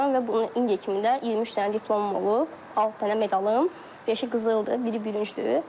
Və bunu indiyə kimi də 23 dənə diplomum olub, 6 dənə medalım, beşi qızıldır, biri bürüncdür.